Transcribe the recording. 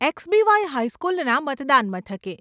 એક્સબીવાય હાઈસ્કુલના મતદાન મથકે.